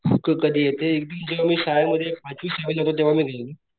कधी ते एकदम जेव्हा मी शाळेमध्ये पाचवी सहावी ला होतो तेव्हा मी गेलेलो.